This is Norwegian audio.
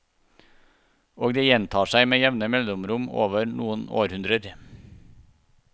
Og dette gjentar seg med jevne mellomrom over noen århundrer.